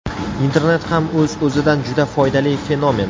Internet ham o‘z-o‘zidan juda foydali fenomen.